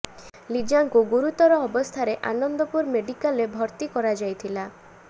ଲିଜାଙ୍କୁ ଗୁରୁତର ଅବସ୍ଥାରେ ଆନନ୍ଦପୁର ମେଡ଼ିକାଲ ରେ ଭର୍ତି କରାଯାଇଥିଲା